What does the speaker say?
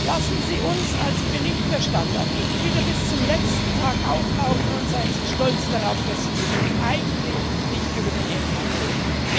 Lassen Sie uns als Berichterstatter nicht wieder bis zum letzten Tag auflaufen und seien Sie stolz darauf, dass Sie mit uns eigentlich nicht über den Inhalt reden!